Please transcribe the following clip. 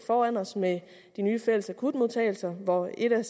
foran os med de nye fælles akutmodtagelser hvor et af